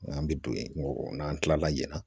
Nka an bɛ don ye n'an kilala yan